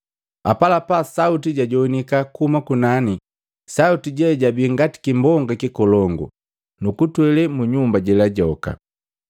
Apalapa sauti jajowanika kuhuma kunani, sauti je jabii ngati kimbonga kikolongu, nukutwele mu nyumba jela joka.